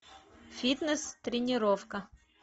фитнес тренировка